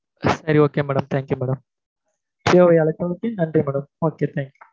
சரி okay madam thank you madam ஜியோவை அழைத்தறக்கு நன்றி madam ok thank you